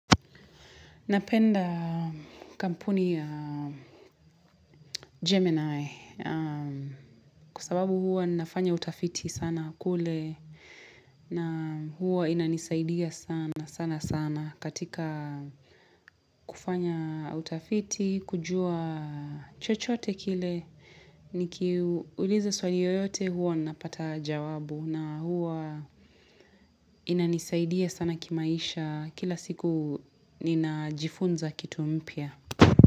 Napenda kampuni ya Gemini kwa sababu huwa nafanya utafiti sana kule na huwa inanisaidia sana sana sana katika kufanya utafiti, kujua chochote kile, nikiuliza swali yoyote huwa napata jawabu na huwa inanisaidia sana kimaisha kila siku ninajifunza kitu mpya.